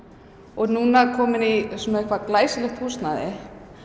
og núna komin í glæsilegt húsnæði